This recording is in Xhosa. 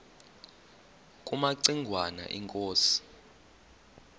kumaci ngwana inkosi